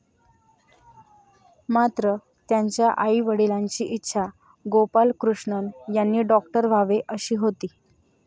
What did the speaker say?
मात्र, त्यांच्या आईवडिलांची इच्छा गोपालकृष्णन यांनी डॉक्टर व्हावे अशी होती.